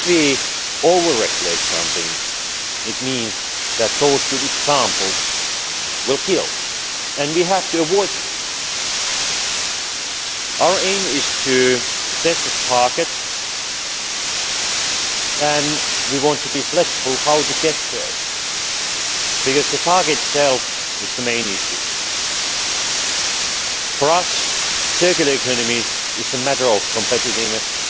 If we over regulate something, it means that those good examples will be killed, and we have to avoid this. Our aim is to set a target, and we want to be flexible on how to get there because the target itself is the main issue. For us, the circular economy is a matter of competitiveness